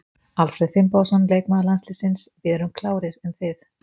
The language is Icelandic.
Alfreð Finnbogason, leikmaður landsliðsins: Við erum klárir, en þið?